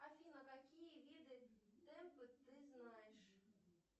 афина какие виды темпы ты знаешь